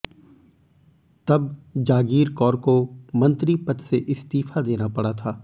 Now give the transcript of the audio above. तब जागीर कौर को मंत्री पद से इस्तीफा देना पड़ा था